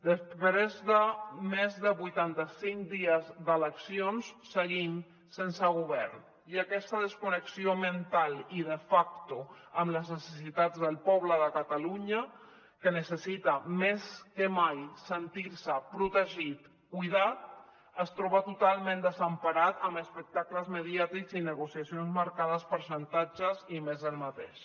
després de més de vuitanta cinc dies d’eleccions seguim sense govern i aquesta desconnexió mental i de facto amb les necessitats del poble de catalunya que necessita més que mai sentir se protegit cuidat es troba totalment desemparat amb espectacles mediàtics i negociacions marcades per xantatges i més del mateix